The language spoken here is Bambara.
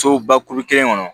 Sobakuru kelen kɔnɔ